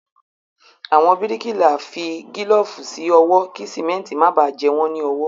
Àwọn bíríkìlá fi gílọ̀fù sí ọwọ́ kí síméntì máa bá jẹ wọ́n ní ọwọ